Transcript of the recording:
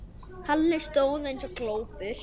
Halli stóð eins og glópur.